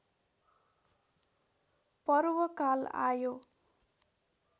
पर्वकाल आयो